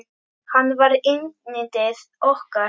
Hann var yndið okkar.